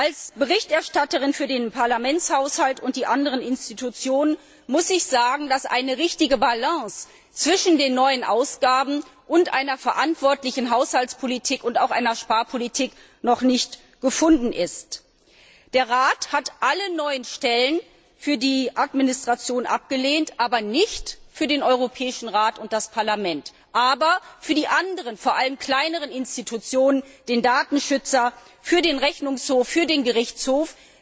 Als Berichterstatterin für den Haushalt des Parlaments und der anderen Institutionen muss ich sagen, dass eine richtige Balance zwischen den neuen Ausgaben und einer verantwortlichen Haushaltspolitik und auch einer Sparpolitik noch nicht gefunden ist. Der Rat hat alle neuen Stellen für die Verwaltung abgelehnt, zwar nicht für den Europäischen Rat und das Parlament, aber für die anderen, vor allem kleineren Institutionen, den Datenschutzbeauftragten, den Rechnungshof, den Gerichtshof.